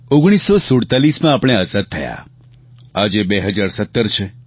1947માં આપણે આઝાદ થયા આજે 2017 છે